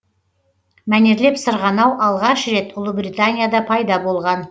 мәнерлеп сырғанау алғаш рет ұлыбританияда пайда болған